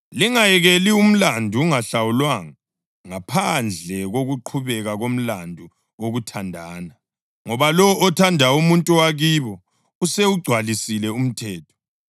Lingayekeli umlandu ungahlawulwanga, ngaphandle kokuqhubeka komlandu wokuthandana, ngoba lowo othanda umuntu wakibo usewugcwalisile umthetho.